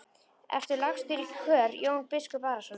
Ertu lagstur í kör Jón biskup Arason?